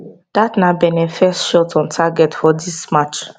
dat na benin first shot on target for dis match